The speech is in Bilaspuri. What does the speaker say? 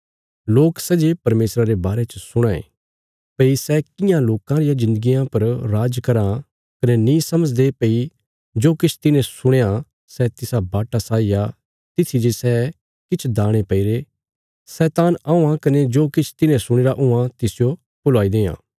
लोक सै जे परमेशरा रे बारे च सुणां यें भई सै कियां लोकां रियां जिन्दगियां पर राज कराँ कने नीं समझदे भई जो किछ तिन्हें सुणया सै तिसा बाटा साई आ तित्थी जे सै किछ दाणे पैईरे शैतान औआं कने जो किछ तिन्हें सुणीरा हुआं तिसजो भुलाई देआं